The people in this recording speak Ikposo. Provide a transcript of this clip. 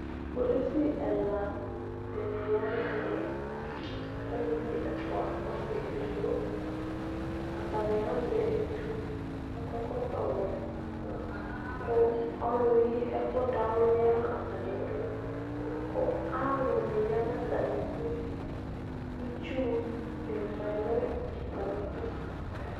Kpolusi ɛlɔ dini yanʋ ɛmɛ alʋvi ɛfʋa nʋ ɔsi edigbo atani azɛ etʋ kʋ akɔ ɛkɔtɔwɛ kʋ ɔlʋyi ɛkʋ dawli yanʋ atami idʋ kʋ alʋni yanʋ atami idʋ itsu di manʋ atami idʋ